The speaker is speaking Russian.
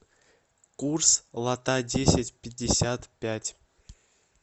курс лата десять пятьдесят пять